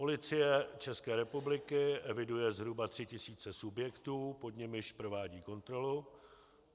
Policie České republiky eviduje zhruba 3 tisíce subjektů, pod nimiž provádí kontrolu.